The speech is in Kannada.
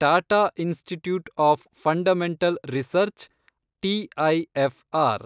Tata institute of fundamental research, TIFR